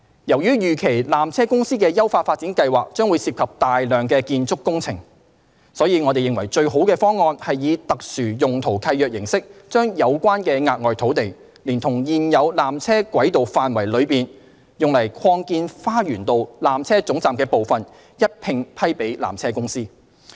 由於預期纜車公司的優化發展計劃將涉及大量建築工程，因此，我們認為最佳方案是以特殊用途契約形式，將有關的額外土地，連同現有纜車軌道範圍內用以擴建花園道纜車總站的部分，一併批予纜車公司。